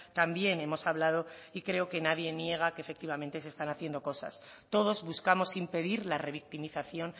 también hemos hablado y creo que nadie niega que efectivamente se están haciendo cosas todos buscamos impedir la revictimización